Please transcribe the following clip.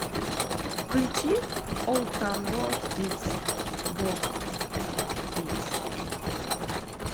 включи олд таун роад кидз боп кидс